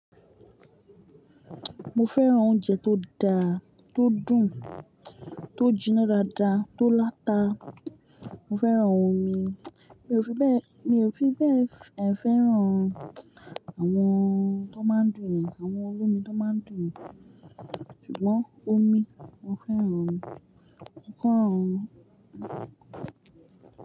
Mo fẹ́ran oúnjẹ tó dáa, tó dùn, tó jiná dáadáa, tó láta. Mo fẹ́ran omi, mi o fi bẹẹ. Mi ò fi bẹ́ẹ̀, haa fẹ́ran an àwọn tó máa ń dùn mi, àwọn olómi tó máa ń dùn mi. Ṣùgbọ́n omi, mo fẹ́ran omi, mo féràn omi.